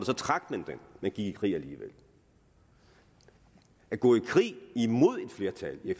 så trak man den men gik i krig alligevel at gå i krig imod et flertal i